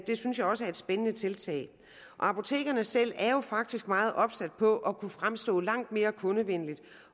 det synes jeg også er et spændende tiltag apotekerne selv er faktisk meget opsat på at kunne fremstå langt mere kundevenlige